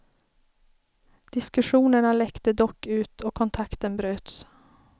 Diskussionerna läckte dock ut och kontakten bröts.